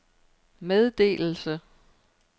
meddelelse